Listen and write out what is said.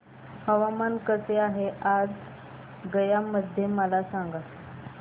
हवामान कसे आहे आज गया मध्ये मला सांगा